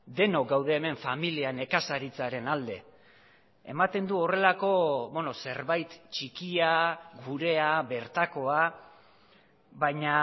denok gaude hemen familia nekazaritzaren alde ematen du horrelako zerbait txikia gurea bertakoa baina